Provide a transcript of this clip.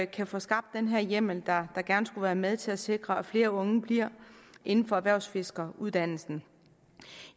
kan få skabt den her hjemmel der gerne skulle være med til at sikre at flere unge bliver inden for erhvervsfiskeruddannelsen